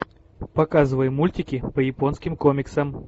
показывай мультики по японским комиксам